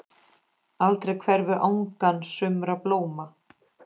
Aldrei hverfur angan sumra blóma.